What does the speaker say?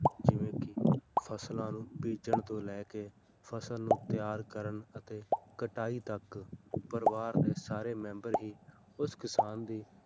ਜਿਵੇਂ ਕਿ ਫ਼ਸਲਾਂ ਨੂੰ ਬੀਜਣ ਤੋਂ ਲੈ ਕੇ ਫ਼ਸਲ ਨੂੰ ਤਿਆਰ ਕਰਨ ਅਤੇ ਕਟਾਈ ਤੱਕ ਪਰਿਵਾਰ ਦੇ ਸਾਰੇ ਮੈਂਬਰ ਹੀ ਉਸ ਕਿਸਾਨ ਦੀ